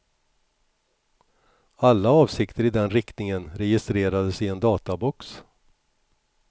Alla avsikter i den riktningen registreras i en databox.